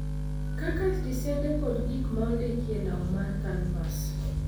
kaka tisede kod gik ma ondiki e lau mar kanvas.